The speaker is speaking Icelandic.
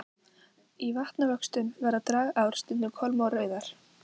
Í vatnavöxtum verða dragár stundum kolmórauðar.